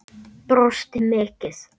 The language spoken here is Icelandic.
Brosti mikið.